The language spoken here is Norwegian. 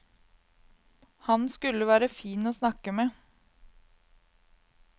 Han skulle være fin å snakke med.